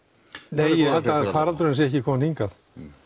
nei ég held að faraldurinn sé ekki kominn hingað